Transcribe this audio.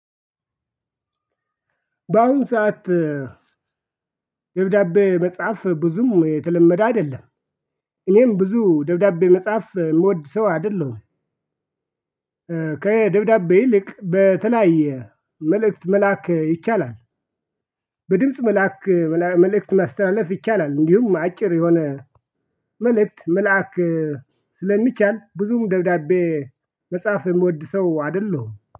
ባሁን ሰዓት ደብዳቤ መጻፍ ብዙም የተለመደ አይደለም። እኔም ብዙ ደብዳቤ መጻፍ ምወድ ሰው አይደለሁም። ከደብዳቤ በተለያየ መልእክት መላክ ይቻላል። በድምጽ መላክ መልእክት ማስተላለፍ ይቻላል። እንዲሁም አጭር የሆነ መልእክት መላክ ስለሚቻል ብዙም ደብዳቤ መጻፍ ምወድ ሰው አይደለሁም።